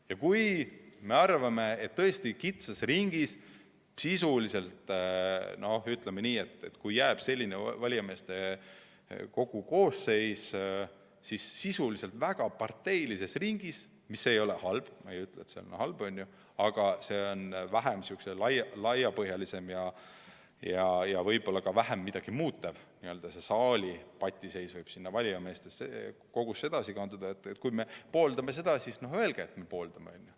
Ja kui me arvame, et kitsas ringis – ütleme nii, et kui jääb selline valijameeste kogu koosseis, siis väga parteilises ringis –, mis ei ole halb, ma ei ütle, et see on halb, aga see on vähem laiapõhjaline ja võib-olla ka vähem midagi muutev ning selle saali patiseis võib valijameeste kogusse edasi kanduda, siis juhul, kui me pooldame seda, ütlemegi, et me pooldame seda, on ju.